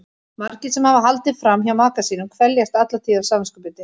Margir sem hafa haldið fram hjá maka sínum kveljast alla tíð af samviskubiti.